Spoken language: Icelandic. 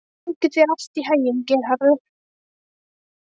Gangi þér allt í haginn, Geirharður.